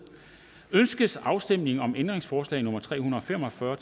ønskes afstemning om ændringsforslag nummer tre hundrede og fem og fyrre